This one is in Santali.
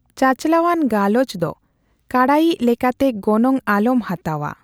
ᱪᱟᱪᱞᱟᱣᱟᱱ ᱜᱟᱞᱚᱪ ᱫᱚ ᱠᱟᱬᱟᱭᱤᱡᱽ ᱞᱮᱠᱟᱛᱮ ᱜᱚᱱᱚᱝ ᱟᱞᱚᱢ ᱦᱟᱛᱟᱣᱟ ᱾